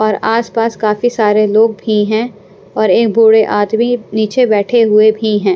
और आसपास काफी सारे लोग भी हैं और एक बूढ़े आदमी नीचे बैठे हुए भी हैं।